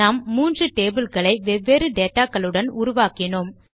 நாம் மூன்று டேபிள் களை வெவ்வேறு டேட்டா களுடன் உருவாக்கினோம்